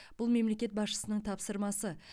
бұл мемлекет басшысының тапсырмасы